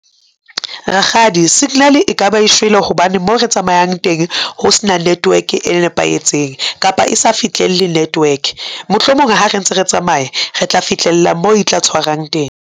Rakgadi signal e kaba e shwele hobane moo re tsamayang teng ho s'na network e nepahetseng kapa e sa fihlelle network mohlomong ha re ntse re tsamaye re tla fihlella moo e tla tshwarang teng.